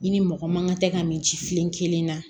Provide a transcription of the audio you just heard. I ni mɔgɔ man kan tɛ ka min ji filen kelen na